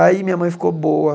Aí minha mãe ficou boa.